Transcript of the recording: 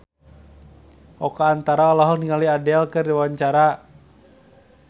Oka Antara olohok ningali Adele keur diwawancara